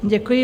Děkuji.